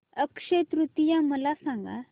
अक्षय तृतीया मला सांगा